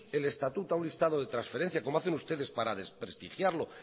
el estatuto a un listado de transferencias como hacen ustedes para desprestigiarlo